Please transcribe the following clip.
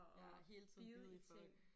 Ja og bide i folk